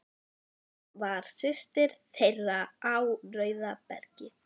Hún var systir þeirra á Rauðabergi.